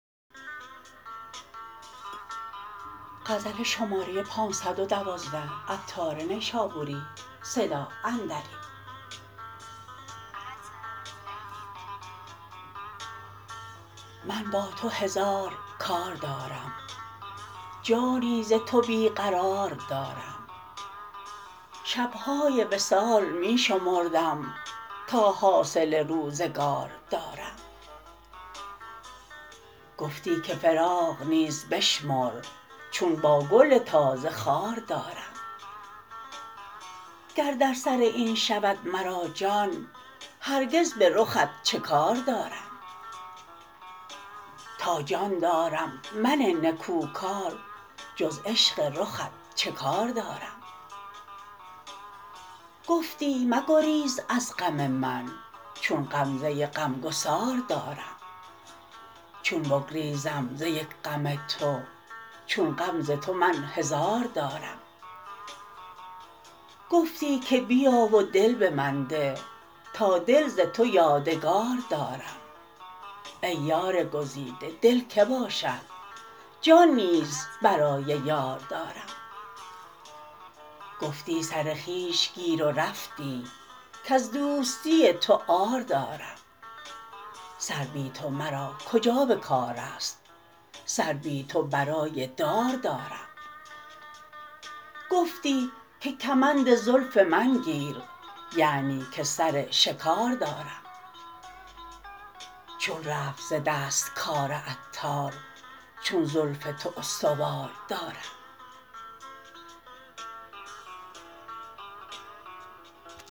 من با تو هزار کار دارم جانی ز تو بی قرار دارم شب های وصال می شمردم تا حاصل روزگار دارم گفتی که فراق نیز بشمر چون با گل تازه خار دارم گر در سر این شود مرا جان هرگز به رخت چه کار دارم تا جان دارم من نکوکار جز عشق رخت چه کار دارم گفتی مگریز از غم من چون غمزه غمگسار دارم چون بگریزم ز یک غم تو چون غم ز تو من هزار دارم گفتی که بیا و دل به من ده تا دل ز تو یادگار دارم ای یار گزیده دل که باشد جان نیز برای یار دارم گفتی سر خویش گیر و رفتی کز دوستی تو عار دارم سر بی تو مرا کجا به کاراست سر بی تو برای دار دارم گفتی که کمند زلف من گیر یعنی که سر شکار دارم چون رفت ز دست کار عطار چون زلف تو استوار دارم